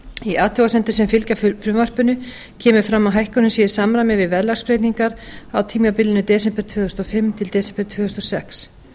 í athugasemdum sem fylgja frumvarpinu kemur fram að hækkunin sé í samræmi við verðlagsbreytingar á tímabilinu desember tvö þúsund og fimm til desember tvö þúsund og sex